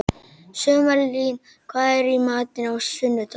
Sumarlín, hvað er í matinn á sunnudaginn?